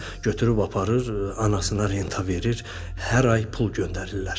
götürüb aparır, anasına renta verir, hər ay pul göndərirlər.